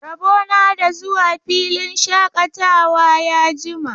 Rabo na da zuwa filin shaƙatawa ya jima.